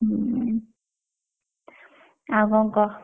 ହୁଁ ଆଉ କଣ କହ।